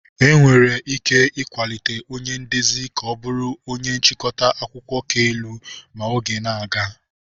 Enwere ike ịkwalite onye ndezi ka ọ bụrụ onye nchịkọta akụkọ ka elu ma oge na-aga.